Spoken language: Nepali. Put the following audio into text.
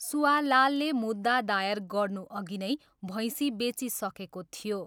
सुआलालले मुद्दा दायर गर्नुअघि नै भैँसी बेचिसकेको थियो।